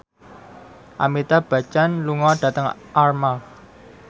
Amitabh Bachchan lunga dhateng Armargh